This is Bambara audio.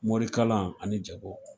Morikalan ani jago